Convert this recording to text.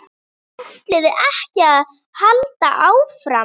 ÆTLIÐI EKKI AÐ HALDA ÁFRAM?